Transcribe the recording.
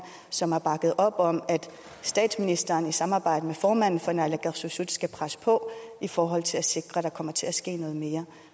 som har bakket op om at statsministeren i samarbejde med formanden for naalakkersuisut skal presse på i forhold til at sikre at der kommer til at ske noget mere